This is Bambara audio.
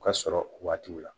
U ka sɔrɔ o waatiw la